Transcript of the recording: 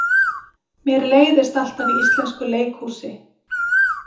Mér leiðist alltaf í íslensku leikhúsi.